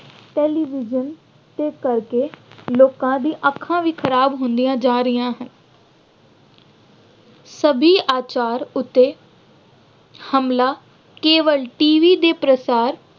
television ਦੇ ਕਰਕੇ ਲੋਕਾਂ ਦੀਆਂ ਅੱਖਾਂ ਵੀ ਖਰਾਬ ਹੁੰਦੀਆਂ ਜਾ ਰਹੀਆਂ ਹਨ। ਸੱਭਿਆਚਾਰ ਉੱਤੇ ਹਮਲਾ ਕੇਵਲ ਟੀਵੀ ਦੇ ਪ੍ਰਸਾਰ